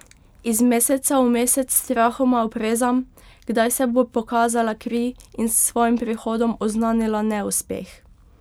Iz meseca v mesec strahoma oprezam, kdaj se bo pokazala kri in s svojim prihodom oznanila neuspeh.